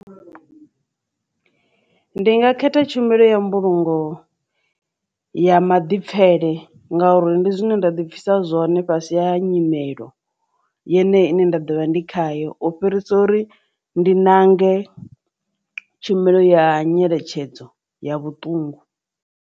Ndi nga khetha tshumelo ya mbulungo ya maḓipfele ngauri ndi zwine nda dipfhisa zwone fhasi ya nyimelo yeneyi ine nda ḓovha ndi khayo u fhirisa uri ndi nange tshumelo ya nyeletshedzo ya vhuṱungu.